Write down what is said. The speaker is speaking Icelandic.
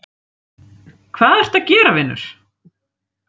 hvað ertu að gera vinur????